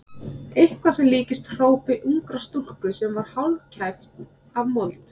Eitthvað sem líktist hrópi ungrar stúlku sem var hálfkæft af mold.